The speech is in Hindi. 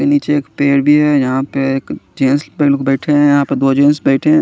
निचे एक पेड़ भी है यहा पे एक जेन्स लोग बेठे है यहा पे दो जेन्स बेठे है।